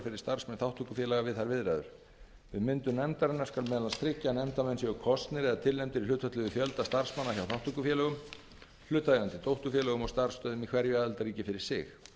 fyrir starfsmenn þátttökufélaga við þær viðræður við myndun nefndarinnar skal meðal annars tryggja að nefndarmenn séu kosnir eða tilnefndir í hlutfalli við fjölda starfsmanna hjá þátttökufélögum hlutaðeigandi dótturfélögum og starfsstöðvum í hverju aðildarríki fyrir sig